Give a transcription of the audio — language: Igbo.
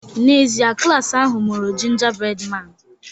N'ezie, klas ahụ mụrụ 'Gingerbread Man'.